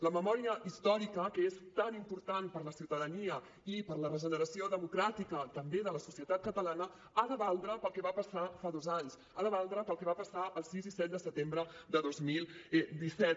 la memòria històrica que és tan important per a la ciutadania i per a la regeneració democràtica també de la societat catalana ha de valdre per al que va passar fa dos anys ha de valdre per al que va passar el sis i set de setembre del dos mil disset